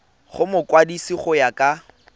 go mokwadise go ya ka